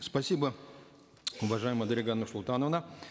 спасибо уважаемая дарига нурсултановна